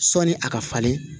Sɔni a ka falen